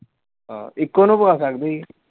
ਹਾਂ ਇੱਕੋ ਨੂੰ ਪਾ ਸਕਦੇ ਸੀ।